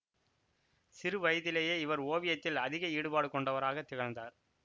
சிறு வயதிலேயே இவர் ஓவியத்தில் அதிக ஈடுபாடு கொண்டவராக திகழ்ந்தார்